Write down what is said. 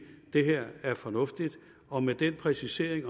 det her er fornuftigt og med den præcisering i